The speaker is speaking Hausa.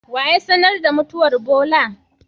Waya sanar da mutuwan Bola?